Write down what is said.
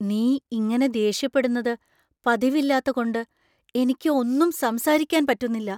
നീ ഇങ്ങനെ ദേഷ്യപ്പെടുന്നത് പതിവല്ലാത്തകൊണ്ട് എനിക്ക് ഒന്നും സംസാരിക്കാൻ പറ്റുന്നില്ല.